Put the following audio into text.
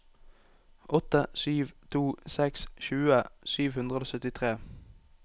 åtte sju to seks tjue sju hundre og syttitre